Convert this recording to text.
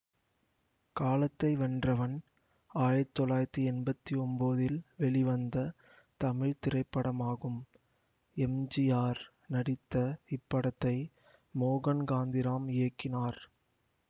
காலத்தை வென்றவன் ஆயிரத்தி தொள்ளாயிரத்தி எம்பத்தி ஒன்போதில் வெளிவந்த தமிழ் திரைப்படமாகும் எம் ஜி ஆர் நடித்த இப்படத்தை மோகன்காந்திராம் இயக்கினார்